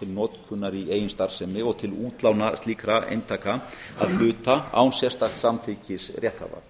notkunar í eigin starfsemi og til útlána slíkra eintaka að hluta án sérstaks samþykkis rétthafa